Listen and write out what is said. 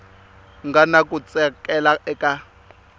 nga na ku tsakela eka